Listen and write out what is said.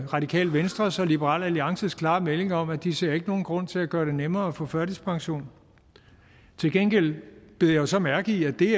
radikale venstres og liberal alliances klare meldinger om at de ikke ser nogen grund til at gøre det nemmere at få førtidspension til gengæld bed jeg så mærke i at det